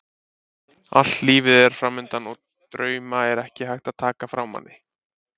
Allt lífið er framundan og drauma er ekki hægt að taka frá manni.